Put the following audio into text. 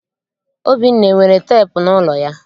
Obinna, enwere teepu n'ụlọ ya?